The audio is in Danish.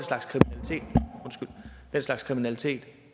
slags kriminalitet